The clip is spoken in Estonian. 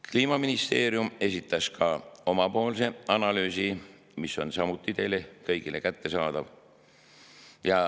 Kliimaministeerium esitas ka oma analüüsi, mis on samuti teile kõigile kättesaadav.